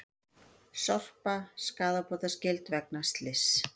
Sorpa skaðabótaskyld vegna slyss